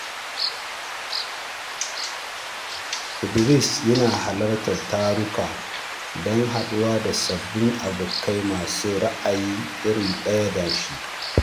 Sadiq yana halartar taruka don haɗuwa da sabbin abokai masu ra’ayi iri ɗaya da shi.